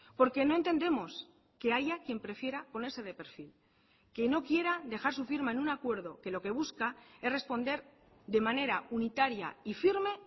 porque no entendemos que haya quien prefiera ponerse de perfil que no quiera dejar su firma en un acuerdo que lo que busca es responder de manera unitaria y firme